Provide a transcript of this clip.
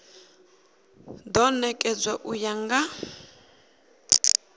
do nekedzwa u ya nga